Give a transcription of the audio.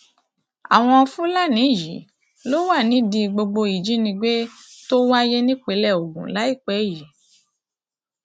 àwọn fúlàní yìí ló wà nídìí gbogbo ìjínigbé tó wáyé nípìnlẹ ogun láìpẹ yìí